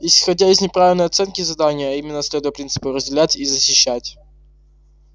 исходя из неправильной оценки задания а именно следуя принципу разделять и защищать